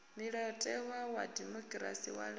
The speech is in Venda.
mulayotewa wa dimokirasi wa laedza